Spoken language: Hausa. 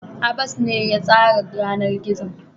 Abbas ne zai tsara yanar gizon.